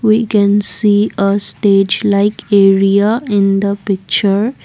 we can see a stage like area in the picture.